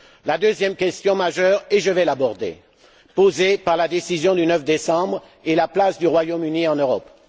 La deuxième question majeure et je vais l'aborder posée par la décision du 9 décembre, est la place du Royaume Uni en Europe.